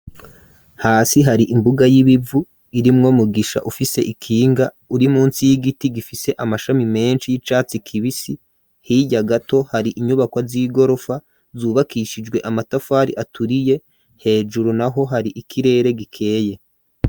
Hasi hari imbuga y'ibivu irimwo mugisha ufise ikinga Uri munsi y'igiti gifise amashami menshi y'icatsi kibisi hijya gato hari Inyubakwa z'igorofa zubakishijwe amatafari aturiye hejuru naho hari ikirere gikeye.